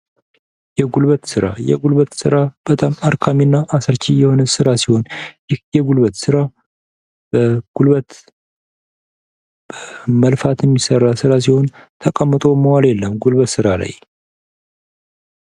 የጉልበት ሥራ የጉልበት ሥራ በጣም አሰልቺ እና አድካሚ ሲሆን ይህ የጉልበት ስራ ጉልበት በመልፋት የሚሠራ ስራ ሲሆን ተቀምጦ መዋል የለም ጉልበት ስራ ላይ።